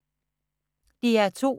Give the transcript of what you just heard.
DR2